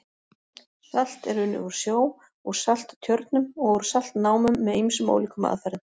Salt er unnið úr sjó, úr salttjörnum og úr saltnámum með ýmsum ólíkum aðferðum.